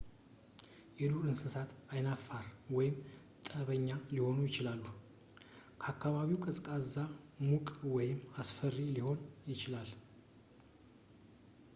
የዱር እንስሳት ዓይናፋር ወይም ጠበኛ ሊሆኑ ይችላሉ አከባቢው ቀዝቃዛ ሙቅ ወይም አስፈሪ ሊሆን ይችላል